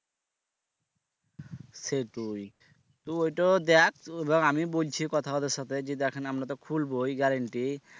সেটোই তো এটোও দেখ তো ধর আমি বলছি কথা ওদের সাথে যে দেখেন আমরা তো খুলবই guarantee